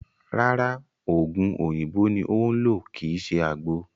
Rárá, ògùn oòyìnbó ni ó ń lò kíì ṣe àgbo